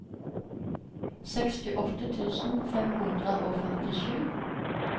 sekstiåtte tusen fem hundre og førtisju